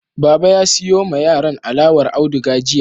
Baba ya siyo ma yaran alawar auduga jiya.